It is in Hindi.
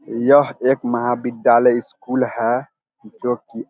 यह एक महाविद्यलाय स्कूल है जो की --